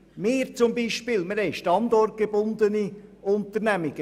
Wir haben beispielsweise standortgebundene Unternehmungen.